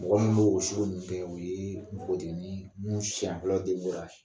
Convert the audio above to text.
Mɔgɔ min b'o sugu ninnu kɛ o ye mbogotigini min siɲɛ fɔlɔ den ko ra